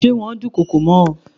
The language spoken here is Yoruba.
Ṣé wón dùn kokò mọ́ ọ.